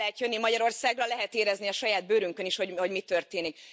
El lehet jönni Magyarországra, lehet érezni a saját bőrünkön is, hogy mi történik.